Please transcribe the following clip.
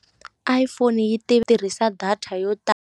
iPhone-i yi ti tirhisa data yo ta.